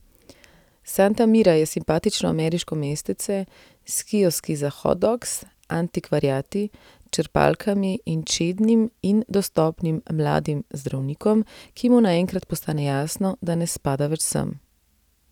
Santa Mira je simpatično ameriško mestece, s kioski za hot dogs, antikvariati, črpalkami in čednim in dostopnim mladim zdravnikom, ki mu naenkrat postane jasno, da ne spada več sem.